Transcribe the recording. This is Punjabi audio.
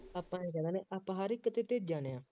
ਆਪਾਂ ਨੇ ਜਾਣਾ ਆਪਾਂ ਆਪਾਂ ਹਰ ਇੱਕ ਤੇ ਡਿੱਗ ਜਾਂਦੇ ਹਾਂ